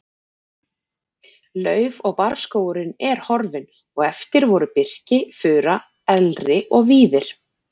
Lauf- og barrskógurinn er horfinn og eftir voru birki, fura, elri og víðir.